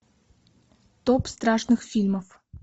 топ страшных фильмов